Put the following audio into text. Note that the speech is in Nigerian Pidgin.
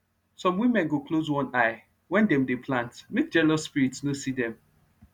some women go close one eye when dem dey plant make jealous spirit no see dem